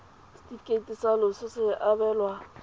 setefikeiti sa loso se abelwa